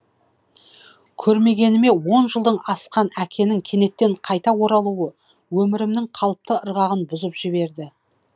көрмегеніме он жылдан асқан әкенің кенеттен қайта оралуы өмірімнің қалыпты ырғағын бұзып жіберді